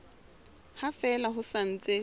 ha fela ho sa ntse